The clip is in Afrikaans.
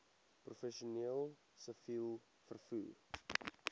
professioneel siviel vervoer